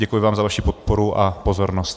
Děkuji vám za vaši podporu a pozornost.